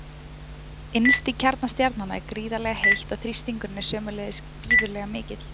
Innst í kjarna stjarnanna er gríðarlega heitt og þrýstingurinn er sömuleiðis gífurlega mikill.